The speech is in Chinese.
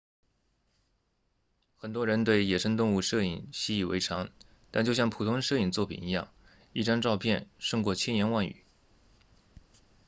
很多人对野生动物摄影习以为常但就像普通摄影作品一样一张照片胜过千言万语